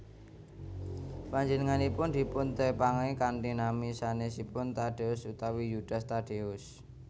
Panjenenganipun dipuntepangi kanthi nami sanèsipun Tadeus utawi Yudas Tadeus